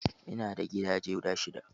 Ina da gidaje guda shidda.